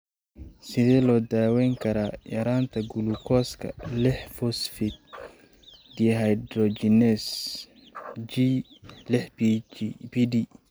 Sidee loo daweyn karaa yaraanta gulukooska lix phosphate dehydrogenase (G lix PD)?